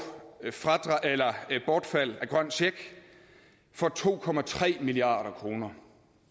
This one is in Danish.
et bortfald af den grønne check for to milliard kroner